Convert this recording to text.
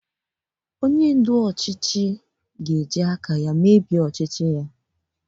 Onye ndu ọchịchị ga-emebi ọchịchị ya naanị ya